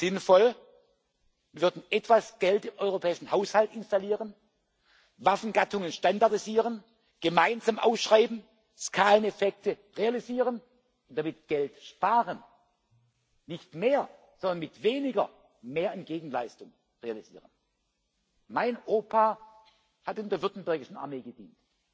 Wäre es nicht sinnvoll, wir würden etwas Geld in den europäischen Haushalt einstellen, Waffengattungen standardisieren, gemeinsam ausschreiben, Skaleneffekte realisieren und damit Geld sparen? Nicht mit mehr, sondern mit weniger mehr an Gegenleistung realisieren. Mein Opa hat in der württembergischen Armee gedient.